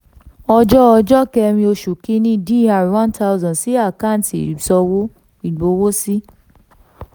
ọjọ́ ọjọ́ kẹrin oṣù kìíní dr one thousand sí àkáǹtì ìsanwó ìgbowósí